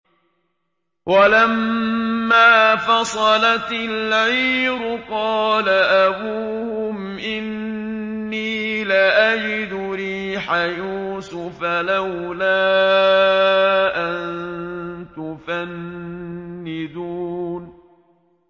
وَلَمَّا فَصَلَتِ الْعِيرُ قَالَ أَبُوهُمْ إِنِّي لَأَجِدُ رِيحَ يُوسُفَ ۖ لَوْلَا أَن تُفَنِّدُونِ